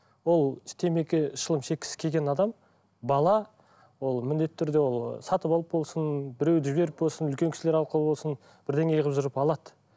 ол темекі шылым шеккісі келген адам бала ол міндетті түрде ол сатып алып болсын біреуді жіберіп болсын үлкен кісілер арқылы болсын бірдеңе қылып жүріп алады